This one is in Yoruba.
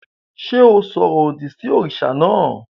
Ṣé o sọ̀rọ̀ òdì sí òrìṣà náà?